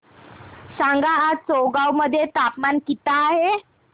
सांगा आज चौगाव मध्ये तापमान किता आहे